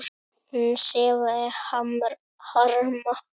Hún sefaði harma.